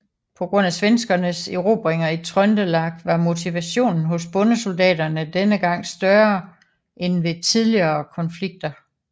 På grund af svenskernes erobringer i Trøndelag var motivationen hos bondesoldaterne denne gang større end ved tidligere konflikter